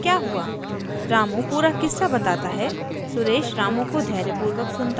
उसको दर्द में देखकर उसका दोस्त suresh पूछता है क्या हुआ